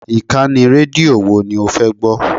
Ìkànnì rédíò wo ni o fẹ́ gbọ́?